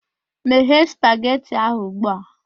Meghe spageti ahụ ugbu a!